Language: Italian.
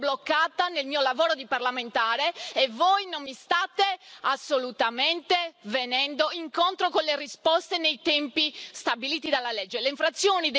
Io sono bloccata nel mio lavoro di parlamentare e voi non mi state assolutamente venendo incontro con le risposte nei tempi stabiliti dalla legge.